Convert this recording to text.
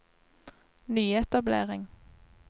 nyetablering